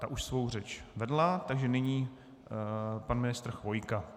Ta už svou řeč vedla, takže nyní pan ministr Chvojka.